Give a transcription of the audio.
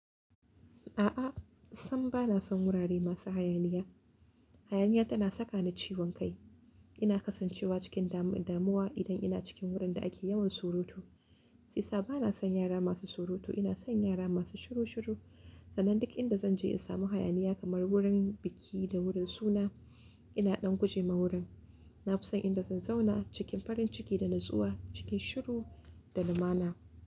A'a, sam ba na son wurare masu hayaniya. Hayaniya tana saka ni ciwon kai. Ina kasancewa cikin dam-damuwa idan ina cikin wurin da ake yawan surutu. Shi isa ba na son yara masu surutu, ina son yara masu shiru shiru. Sannan duk inda zan je in samu hayaniya kamar wurin biki da wurin suna, ina ɗan guje ma wurin. Na fi son inda zan zauna cikin farin ciki da natsuwa, cikin shiru da lumana.